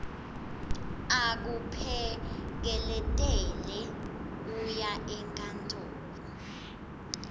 akuphekeletele uye enkantolo